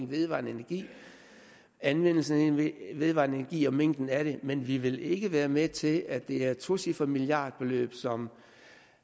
vedvarende energi anvendelsen af vedvarende energi og mængden af det men vi vil ikke være med til at det er tocifrede milliardbeløb som